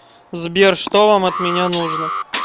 сбер что вам от меня нужно